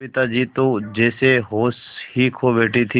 सविता जी तो जैसे होश ही खो बैठी थीं